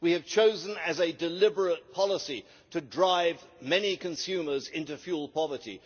we have chosen as a deliberate policy to drive many consumers into fuel poverty